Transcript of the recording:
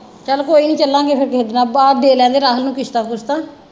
ਚੱਲ ਕੋਈ ਨੀ ਚਲਾਂਗੇ ਫੇਰ ਕਿਸੇ ਦਿਨ ਆ ਦੇ ਲੈਣ ਦੇ ਰਾਹੁਲ ਨੂੰ ਕਿਸ਼ਤਾਂ ਕੁਸ਼ਤਾਂ।